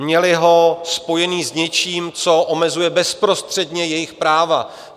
Měli ho spojený s něčím, co omezuje bezprostředně jejich práva.